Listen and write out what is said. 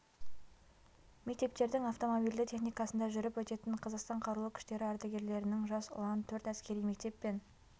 мектептердің автомобильді техникасында жүріп өтетін қазақстан қарулы күштері ардагерлерінің жас ұлан төрт әскери мектеп пен